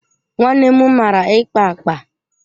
Nwannem mara ikpa akpa.